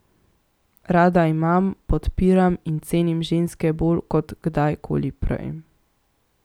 Rada imam, podpiram in cenim ženske bolj kot kdaj koli prej.